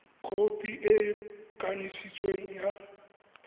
khopi e e kanisitsweng ya